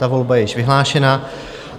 Ta volba je již vyhlášena.